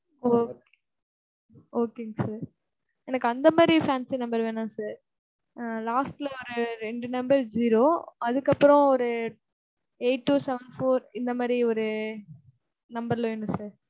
ஒ okay ங்க sir எனக்கு அந்த மாதிரி fancy number வேணாம் sir. Last ல ரெண்டு number zero அதுக்கப்புறம் ஒரு eight-two-seven-four இந்த மாதிரி ஒரு number ல வேணும் sir.